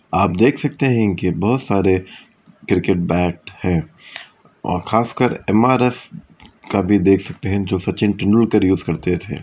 आप देख सकते है कि बहुत सारे क्रिकेट बैट है और खास कर इमारत एम_आर_एफ का भी देख सकते जो सचिन तेंदुलकर उसे यूज करते थे।